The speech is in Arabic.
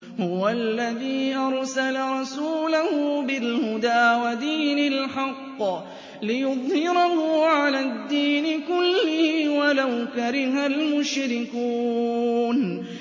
هُوَ الَّذِي أَرْسَلَ رَسُولَهُ بِالْهُدَىٰ وَدِينِ الْحَقِّ لِيُظْهِرَهُ عَلَى الدِّينِ كُلِّهِ وَلَوْ كَرِهَ الْمُشْرِكُونَ